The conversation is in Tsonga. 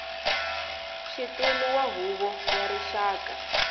xitulu wa huvo ya rixaka